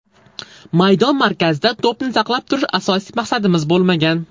Maydon markazida to‘pni saqlab turish asosiy maqsadimiz bo‘lmagan.